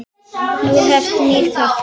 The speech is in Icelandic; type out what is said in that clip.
Nú hefst nýr kafli.